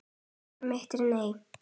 Svar mitt er nei.